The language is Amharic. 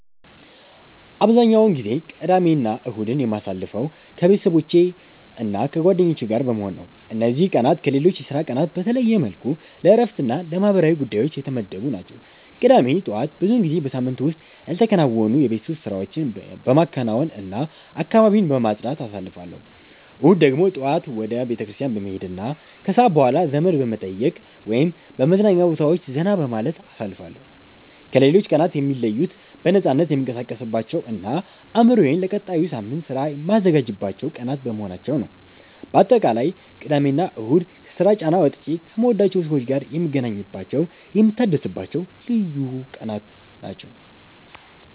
አብዛኛውን ጊዜ ቅዳሜና እሁድን የማሳልፈው ከቤተሰቦቼና ከጓደኞቼ ጋር በመሆን ነው። እነዚህ ቀናት ከሌሎች የሥራ ቀናት በተለየ መልኩ ለእረፍትና ለማህበራዊ ጉዳዮች የተመደቡ ናቸው። ቅዳሜ ጠዋት ብዙውን ጊዜ በሳምንቱ ውስጥ ያልተከናወኑ የቤት ውስጥ ስራዎችን በማከናወንና አካባቢን በማጽዳት አሳልፋለሁ። እሁድ ደግሞ ጠዋት ወደ ቤተክርስቲያን በመሄድና ከሰዓት በኋላ ዘመድ በመጠየቅ ወይም በመዝናኛ ቦታዎች ዘና በማለት አሳልፋለሁ። ከሌሎች ቀናት የሚለዩት በነፃነት የምንቀሳቀስባቸውና አእምሮዬን ለቀጣዩ ሳምንት ሥራ የማዘጋጅባቸው ቀናት በመሆናቸው ነው። ባጠቃላይ ቅዳሜና እሁድ ከስራ ጫና ወጥቼ ከምወዳቸው ሰዎች ጋር የምገናኝባቸውና የምታደስባቸው ልዩ ቀናት ናቸው።